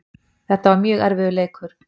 Þetta var mjög erfiður leikur